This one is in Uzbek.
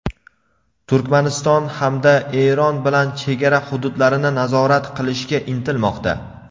Turkmaniston hamda Eron bilan chegara hududlarini nazorat qilishga intilmoqda.